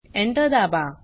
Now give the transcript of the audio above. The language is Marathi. Enter दाबा